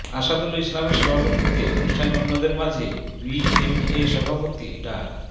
আসাদুল ইসলামের সভাপতিত্বে অনুষ্ঠানে অন্যদের মাঝে বিএমএ সভাপতি ডা